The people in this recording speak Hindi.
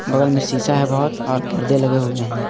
बगल में शिशा है बहोत और परदे लगे हुए हैं।